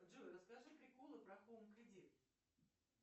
джой расскажи приколы про хоум кредит